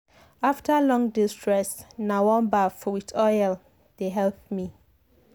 after long day stress na warm baff with oil dey help me.